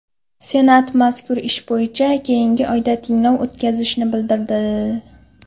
Senat mazkur ish bo‘yicha keyingi oyda tinglov o‘tkazishini bildirdi.